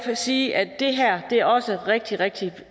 sige at det her også er rigtig rigtig